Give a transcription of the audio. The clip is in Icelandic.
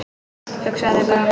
Hugsaðu þér bara!